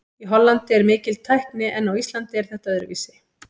Í Hollandi er mikil tækni en á Íslandi er þetta öðruvísi.